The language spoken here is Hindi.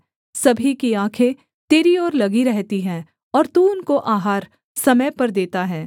सभी की आँखें तेरी ओर लगी रहती हैं और तू उनको आहार समय पर देता है